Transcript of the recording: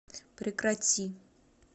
прекрати